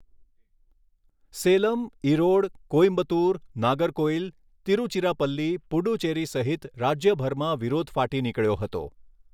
સેલમ, ઈરોડ, કોઈમ્બતુર, નાગરકોઈલ, તિરુચિરાપલ્લી, પુડુચેરી સહિત રાજ્યભરમાં વિરોધ ફાટી નીકળ્યો હતો.